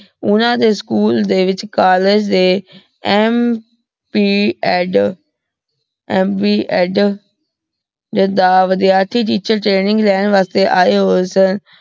ਓਹਨਾਂ ਦੇ ਸਕੂਲ ਦੇ ਵਿਚ ਕੋਲ੍ਲੇਗੇ ਦੇ MP ਵਾਦਾ ਵਿਧ੍ਯਰਥੀ teacher training ਲੈਣ ਵਾਸਤੇ ਆਯ ਹੋਆਯ ਹਨ